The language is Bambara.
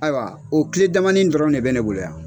Ayiwa o kile damani dɔrɔn de bɛ ne bolo yan.